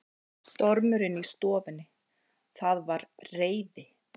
Stormurinn í stofunni, það var reiði